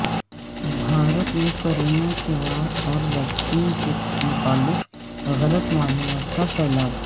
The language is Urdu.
بھارت میں کرونا کے وار اور ویکسین کے متعلق غلط معلومات کا سیلاب